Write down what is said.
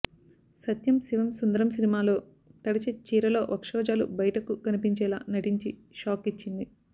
సత్యం శివం సుందరం సినిమాలో తడిచి చీరలో వక్షోజాలు బయటికి కనిపించేలా నటించి షాక్ ఇచ్చింది